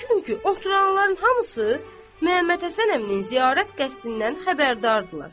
Çünki oturanların hamısı Məhəmməd Həsən əminin ziyarət qəsdindən xəbərdardılar.